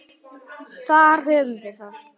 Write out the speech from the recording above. Þar höfum við það.